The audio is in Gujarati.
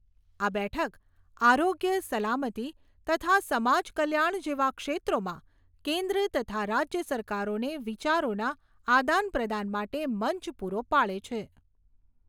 આ બેઠક, આરોગ્ય, સલામતી તથા સમાજ કલ્યાણ જેવા ક્ષેત્રોમાં કેન્દ્ર તથા રાજ્ય સરકારોને વિચારોના આદાન પ્રદાન માટે મંચ પૂરો પાડે છે.